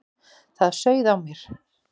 Það sauð á mér.